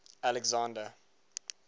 alexander